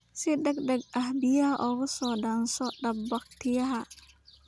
Si degdeg ah biyaha uga soo dhaanso dab-bakhtiiyaha.